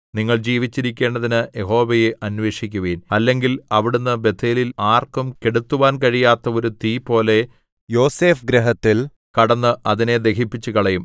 നിങ്ങൾ ജീവിച്ചിരിക്കേണ്ടതിന് യഹോവയെ അന്വേഷിക്കുവിൻ അല്ലെങ്കിൽ അവിടുന്ന് ബേഥേലിൽ ആർക്കും കെടുത്തുവാൻ കഴിയാത്ത ഒരു തീപോലെ യോസേഫ്ഗൃഹത്തിൽ കടന്ന് അതിനെ ദഹിപ്പിച്ചുകളയും